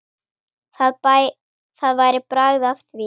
Það væri bragð af því!